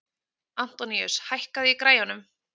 Antoníus, hækkaðu í græjunum.